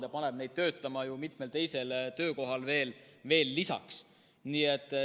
See paneb neid töötama mitmel teisel töökohal veel lisaks.